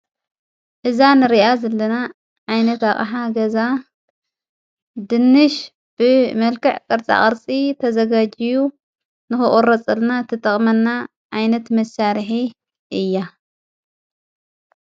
እዛ ንርኣ ዘለና ዓይነት ኣሓ ገዛ ድንሽ ብ መልከዕ ቕርጻ ቐርፂ ተዘጋጅዩ ንክቁረጸልና ተጠቕመና ዓይነት መሣርሐ እያ።